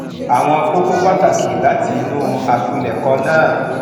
àwọn kókó pàtàkì látinú àpilèkọ náà